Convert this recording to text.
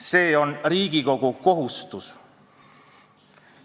See on Riigikogu kohustus.